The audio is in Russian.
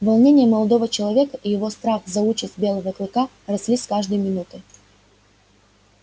волнение молодого человека и его страх за участь белого клыка росли с каждой минутой